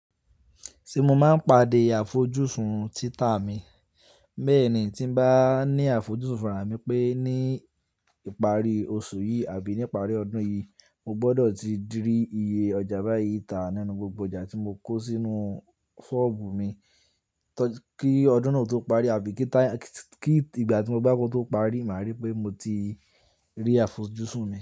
Tí mo máa ń pàdé àfojúsùn títà mi. Bẹ́ẹ̀ni tí n bá ní àfojúsùn fún raa mi pé ní ìparí oṣù tàbí ní ìparí ọdún yìí, mo gbọ́dọ̀ ti di rí iye ọjà báyìí tà nínú gbogbo ọjà tí mo kó sínú ṣọ́ọ̀bù mi kí ọdún náà tó parí àbí kí ìgbà tí mo bá kó tó parí, màá rí pé mo ti rí àfojúsùn náà.